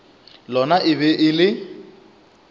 lona e be e le